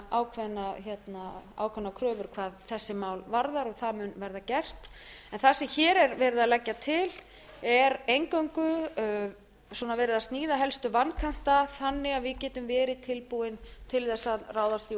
í leyfin ákveðnar kröfur hvað þessi mál varðar en það mun verða gert það sem hér er verið að leggja til er eingöngu verið að sníða helstu vankanta þannig að við getum verið tilbúin til þess að ráðast í